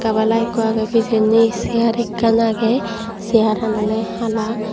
gabala ikko agey pijendi sear ekkan agey searan ole hala.